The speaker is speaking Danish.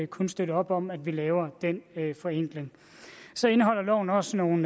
kun støtte op om at vi laver den forenkling så indeholder loven også nogle